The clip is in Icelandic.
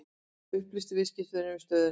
Upplýsa viðskiptavini um stöðuna